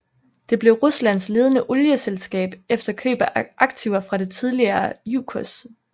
Det blev Ruslands ledende olieselskab efter køb af aktiver fra det tidligere Jukos